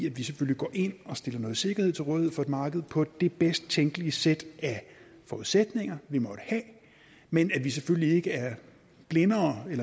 at vi selvfølgelig går ind og stiller noget sikkerhed til rådighed for et marked på det bedst tænkelige sæt af forudsætninger vi måtte have men at vi selvfølgelig ikke er